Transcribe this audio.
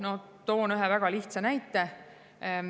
No toon ühe väga lihtsa näite.